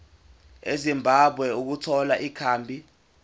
ezimbabwe ukuthola ikhambi